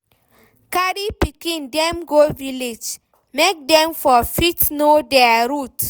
Carry pikin dem go village, make dem for fit know their root